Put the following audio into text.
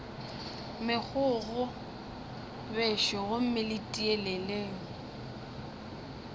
megokgo bešo gomme le tieleleng